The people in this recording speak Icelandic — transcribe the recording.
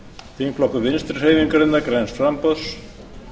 þingflokkur vinstri hreyfingarinnar græns framboðs